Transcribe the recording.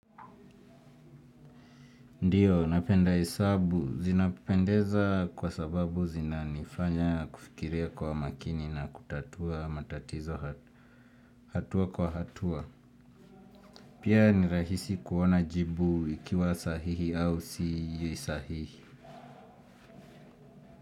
Ndiyo, napenda hesabu. Zinapendeza kwa sababu zina nifanya kufikiria kwa makini na kutatua matatizo hatua kwa hatua. Pia ni rahisi kuona jibu ikiwa sahihi au si yi sahihi.